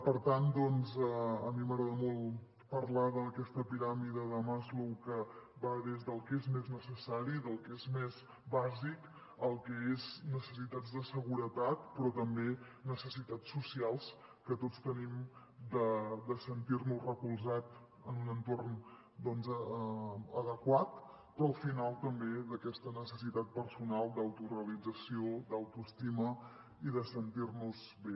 per tant a mi m’agrada molt parlar d’aquesta piràmide de maslow que va des del que és més necessari el que és més bàsic fins al que són necessitats de seguretat però també necessitats socials que tots tenim de sentir·nos recolzats en un entorn adequat i al final també d’aquesta necessitat personal d’autorealització d’autoesti·ma i de sentir·nos bé